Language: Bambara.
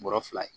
Bɔrɔ fila ye